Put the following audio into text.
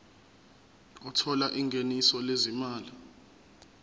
othola ingeniso lezimali